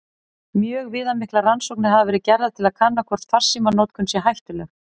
Mjög viðamiklar rannsóknir hafa verið gerðar til að kanna hvort farsímanotkun sé hættuleg.